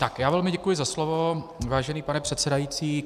Tak, já velmi děkuji za slovo, vážený pane předsedající.